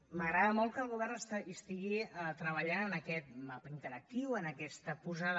m’agrada molt que el govern hi estigui treballant en aquest mapa interactiu en aquesta posada